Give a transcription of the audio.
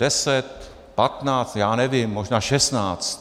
Deset patnáct, já nevím, možná šestnáct.